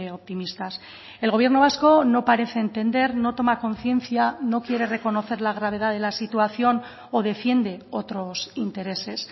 optimistas el gobierno vasco no parece entender no toma conciencia no quiere reconocer la gravedad de la situación o defiende otros intereses